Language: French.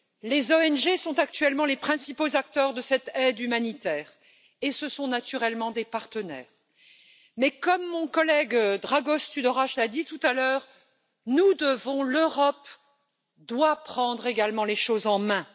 Les ONG sont actuellement les principaux acteurs de cette aide humanitaire et ce sont naturellement des partenaires. Mais, comme mon collègue Dragoş Tudorache l'a dit tout à l'heure, nous devons, l'Europe doit prendre également les choses en main.